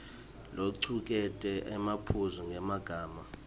locuketse emaphuzu ngemagama